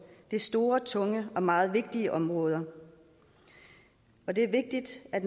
det er store tunge og meget vigtige områder det er vigtigt at